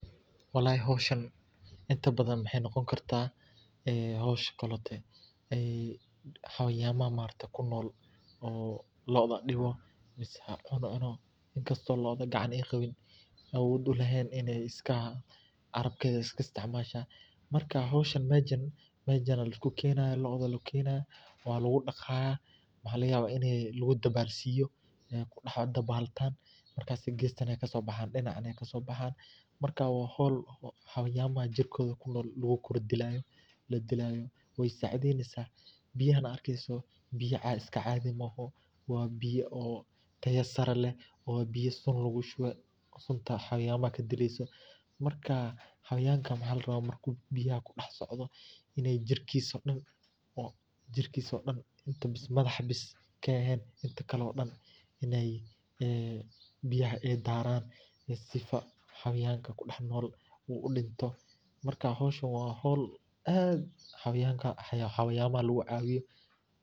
Walahii howshaan intaa badaan waxey noqoon kartaa ee howsh koletee ayey xawayanaaha maaragte kunool oo looda diibo miseh cuuno inkaasto looda gacaan eey qawiin awood uleheen ineey iskaa carabkeeda iskaa isticmaasha. markaa howshaa mejaan mejaana laiskuu kenayaa looda laa kenaaya waa laguu dhaqaaya waxa lagaa yawaa inii laguu dabaalsiyo ee kudaax dabaaltan markaase gestaane kasoo baxayaan dhinacaan nee kasoo baxaan. maarka waa howl xawayamaaha jirkooda kunool laguu kor dilaayo laa dilaayo wey sacideyneysaa. biyahaan aa arkeysoo biyaa iskaa caadi mooho waa biyaa oo taayo saree leh waa biya suun laguu shuuwe suunta xawayamaaha kaa dileysoo markaa xayawaanka waxa laa rabaa markuu biyahaa ku dheex socdoo iney jirkiiso dhaan inee jirkiiso dhaan madaaxa baas kaa eheen intaa kaalo dhaan ineey ee biyahaa eey daaran siifa xayawaanka kuu dheex nool udintoo. maarka howshaan waa howl aad xayawahaa laguu caawiyo.